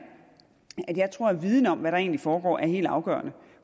at jeg tror at viden om hvad der egentlig foregår er helt afgørende